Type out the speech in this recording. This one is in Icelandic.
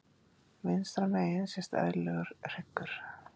Vinstra megin sést eðlilegur hryggur.